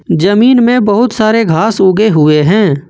जमीन में बहुत सारे घास उगे हुए हैं।